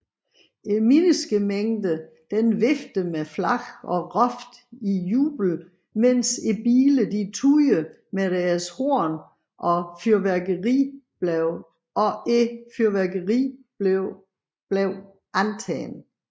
Menneskemængden viftede med flag og råbte i jubel mens bilerne tudede med deres horn og fyrværkeri blev antændt